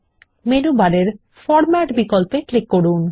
menu বারে format বিকল্পে click করুন